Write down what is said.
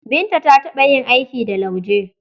Binta ta taɓa yin aiki da lauje.